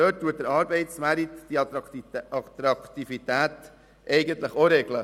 Dort regelt der Arbeitsmarkt die Attraktivität von selber.